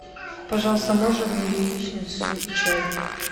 пожалуйста можно мне яичницу и чай